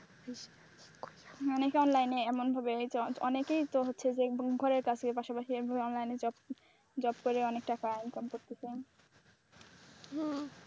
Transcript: মানে কার লাইনে এমনভাবে অনেকেই তো হচ্ছে যে ঘরের কাছে পাশাপাশি এভাবে অনলাইনে জব কোরে অনেক টাকা ইনকাম করতে চাই হ্যাঁ,